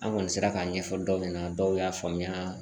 An kɔni sera k'a ɲɛfɔ dɔw ɲɛna dɔw y'a faamuya